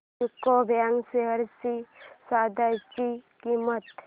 UCO bank shares ची सध्याची किंमत